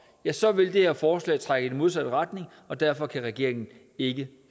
ja så vil det her forslag trække i den modsatte retning og derfor kan regeringen ikke